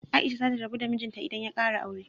Aisha za ta rabu da mijinta idan ya kara aure.